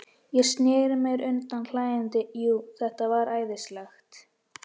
Ég sneri mér undan hlæjandi, jú, þetta var æðislegt.